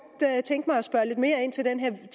tænke mig at spørge lidt mere ind til den